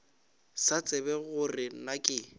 sa tsebe gore na ke